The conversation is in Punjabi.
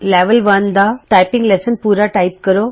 ਲੈਵਲ 1 ਦਾ ਟਾਈਪਿੰਗ ਲੈਸਨ ਪੂਰਾ ਟਾਈਪ ਕਰੋ